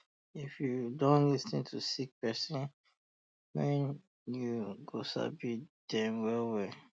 um if you don lis ten to sick persin um well you go sabi dem well well